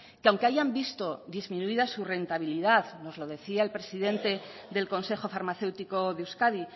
que aunque hayan visto disminuida su rentabilidad nos lo decía el presidente del consejo farmacéutico de euskadi